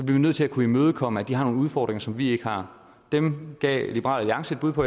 vi nødt til at kunne imødekomme at de har nogle udfordringer som vi ikke har dem gav liberal alliance et bud på